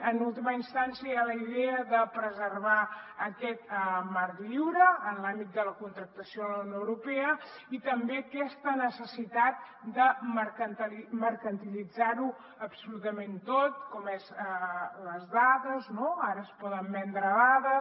en última instància hi ha la idea de preservar aquest marc lliure en l’àmbit de la contractació en la unió europea i també aquesta necessitat de mercantilitzar ho absolutament tot com són les dades no ara es poden vendre dades